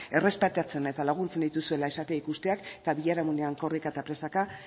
errespetatzen eta laguntzen dituzuela esatea ikusteak eta biharamunean korrika eta presaka